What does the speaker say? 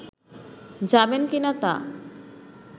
যাবেন কিনা তা